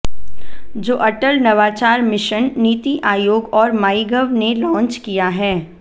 जो अटल नवाचार मिशन नीति आयोग और माईगव ने लॉन्च किया है